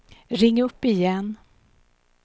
ring upp igen